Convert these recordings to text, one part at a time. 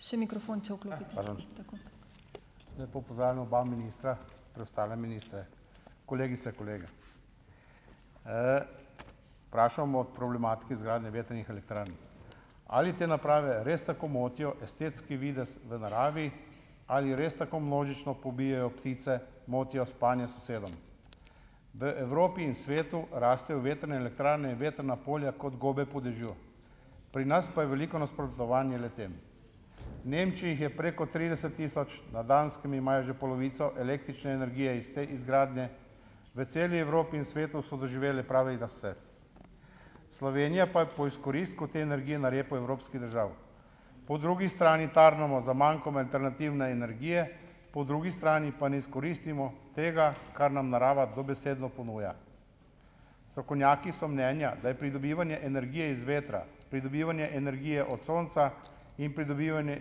Še mikrofon, če , tako. Lepo pozdravljam oba ministra, preostale ministre. Kolegice, kolegi. vprašal bomo problematike izgradnje vetrnih elektrarn. Ali te naprave res tako motijo estetski videz v naravi ? Ali res tako množično pobijejo ptice, motijo spanje sosedov? V Evropi in svetu rastejo vetrne elektrarne in vetrna polja kot gobe po dežju. Pri nas pa je veliko nasprotovanj le-tem. Nemčiji jih je preko trideset tisoč, na Danskem imajo že polovico električne energije iz te izgradnje, v celi Evropi in svetu so doživele pravi razcvet. Slovenija pa je po izkoristku te energije na repu evropskih držav. Po drugi strani tarnamo za mankom alternativne energije, po drugi strani pa ne izkoristimo tega, kar nam narava dobesedno ponuja. Strokovnjaki so mnenja, da je pridobivanje energije iz vetra, pridobivanje energije od sonca in pridobivanje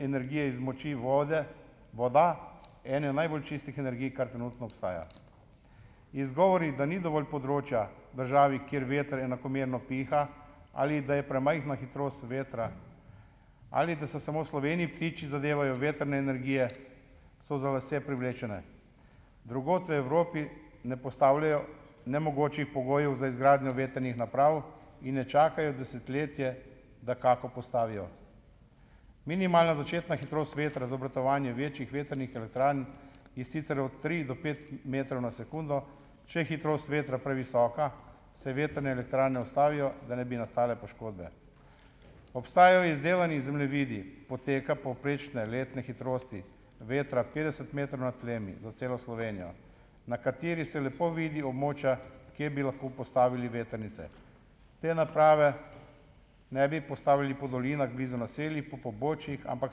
energije iz moči voda, ena najbolj čistih energij, kar trenutno obstaja. Izgovori, da ni dovolj področja državi, kjer veter enakomerno piha, ali da je premajhna hitrost vetra, ali da se samo v Sloveniji ptiči zadevajo v vetrne energije, so za lase privlečeni. Drugod v Evropi ne postavljajo nemogočih pogojev za izgradnjo vetrnih naprav in ne čakajo desetletje, da kako postavijo. Minimalna začetna hitrost vetra za obratovanje večjih vetrnih elektrarn, in sicer od tri do pet metrov na sekundo. Če je hitrost vetra previsoka, se vetrne elektrarne ustavijo, da ne bi nastale poškodbe. Obstajajo izdelani zemljevidi poteka povprečne letne hitrosti vetra petdeset metrov nad tlemi za celo Slovenijo, na kateri se lepo vidi območja kje bi lahko postavili vetrnice. Te naprave ne bi postavili po dolinah blizu naselij, po pobočjih, ampak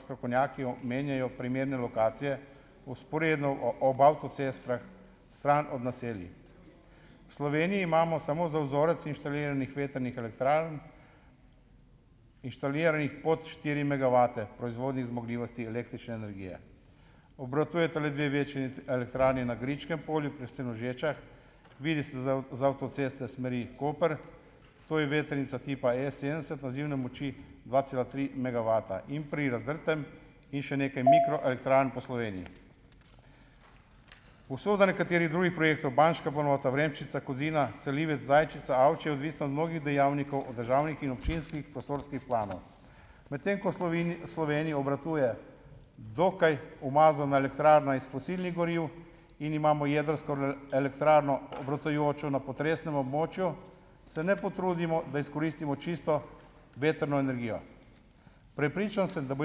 strokovnjaki omenjajo primerne lokacije vzporedno ob avtocestah, stran od naselij. Sloveniji imamo, samo za vzorec, inštaliranih vetrnih elektrarn, inštaliranih pod štiri megavate proizvodnih zmogljivosti električne energije. Obratujeta le dve večji elektrarni na Griškem polju pri Senožečah. Vidi se z z avtoceste smeri Koper. To je vetrnica tipa S sedemdeset, nazivne moči dva cela tri megavata. In pri Razdrtem in še nekaj mikro elektrarn po Sloveniji. Usoda nekaterih drugih projektov, Banjška planota, Vremščica, Kozina, Selivec, Zajčica, Avčja, je odvisna od mnogih dejavnikov, od državnih in občinskih prostorskih planov. Medtem ko Sloveniji obratuje dokaj umazana elektrarna iz fosilnih goriv in imamo jedrsko elektrarno, obratujočo na potresnem območju, se ne potrudimo, da izkoristimo čisto vetrno energijo. Prepričan sem, da bo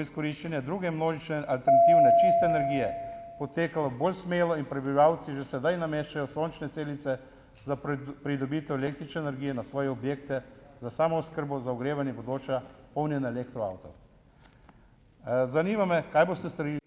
izkoriščanje druge množične alternativne čiste energije potekalo bolj smelo in prebivalci že sedaj nameščajo sončne celice za pridobitev električne energije na svoje objekte za samooskrbo za ogrevanje, bodoča polnjena elektroavtov. zanima me, kaj boste storili ...